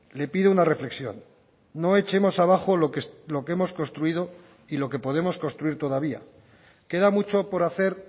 le pido una reflexión no echemos abajo lo que hemos construido y lo que podemos construir todavía queda mucho por hacer